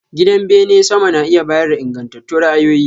Gidan bene sama na iya bayar da ingantattun ra'ayoyi.